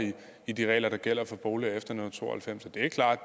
i de regler der gælder for boliger efter nitten to og halvfems det er klart